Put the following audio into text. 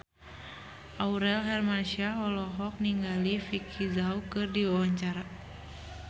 Aurel Hermansyah olohok ningali Vicki Zao keur diwawancara